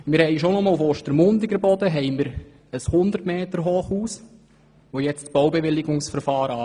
Allein auf Ostermundiger Boden beginnt für das geplante 100 Meter-Hochhaus, das Bären-Projekt, das Baubewilligungsverfahren.